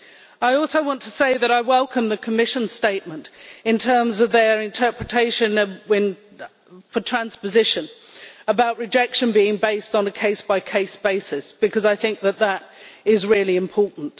I also want to say that I welcome the Commission's statement in terms of its interpretation of transposition, about rejection being based on a case by case basis, because I think that is really important.